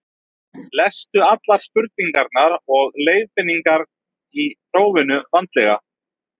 lestu allar spurningar og leiðbeiningar í prófinu vandlega